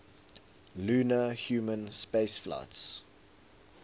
lunar human spaceflights